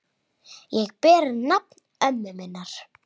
Ég ber nafn ömmu minnar.